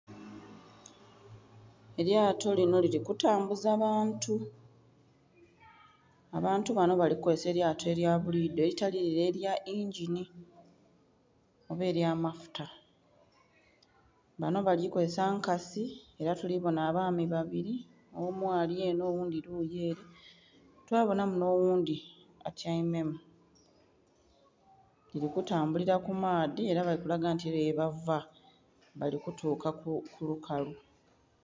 Elyato linho lili kutambuza bantu , abantu banho bali kukozesa elyato elya buli idho elitali lile elya yingini oba ely'amafuta. Banho bali kozesa nkasi ela tulibonha abaami babili. Omu ali enho oghundhi luyi ele. Twa bonhamu nh'oghundhi atyaime mu. Lili kutambulila ku maadhi ela bali kulaga nti eliyo yebava, bali kutuuka ku lukalu.